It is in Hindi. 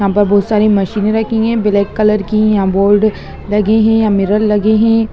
यहां पर बहोत सारी मशीने रखी हैब्लैक कलर की यहां बोल्ड लगे है यहाँ मिरर लगे है।